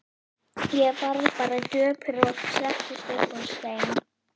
Ég varð bara döpur og settist upp á stein.